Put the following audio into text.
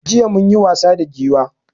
Jiya munyi wasa da Giwa